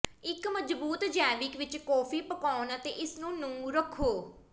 ਇੱਕ ਮਜ਼ਬੂਤ ਜੈਵਿਕ ਵਿੱਚ ਕਾਫੀ ਪਕਾਉਣ ਅਤੇ ਇਸ ਨੂੰ ਨਹੁੰ ਰੱਖੋ